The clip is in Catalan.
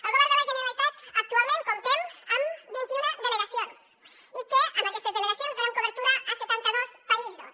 el govern de la generalitat actualment comptem amb vint i una delegacions i amb aquestes delegacions donem cobertura a setanta dos països